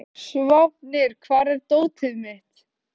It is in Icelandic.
Sváfnir, hvar er dótið mitt?